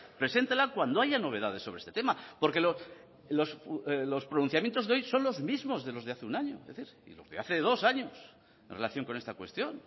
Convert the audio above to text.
preséntela cuando haya novedades sobre este tema porque los pronunciamientos de hoy son los mismos de los de hace un año y de los de hace dos años en relación con esta cuestión